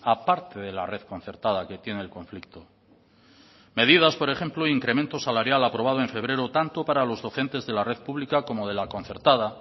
aparte de la red concertada que tiene el conflicto medidas por ejemplo incremento salarial aprobado en febrero tanto para los docentes de la red pública como de la concertada